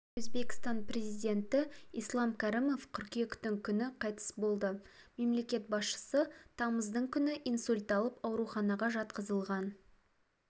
өзбекстан президенті ислам кәрімов қыркүйектің күні қайтыс болды мемлекет басшысы тамыздың күні инсульт алып ауруханаға жатқызылған